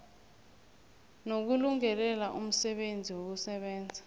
nokulungelela umsebenzi wokusebenza